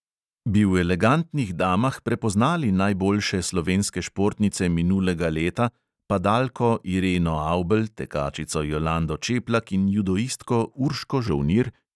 Bi v elegantnih damah prepoznali najboljše slovenske športnice minulega leta, padalko ireno avbelj, tekačico jolando čeplak in judoistko urško žolnir?